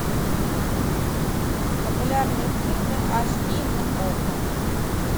популярные фильмы аш ди на окко